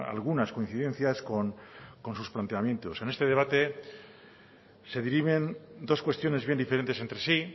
algunas coincidencias con sus planteamientos en este debate se dirimen dos cuestiones bien diferentes entre sí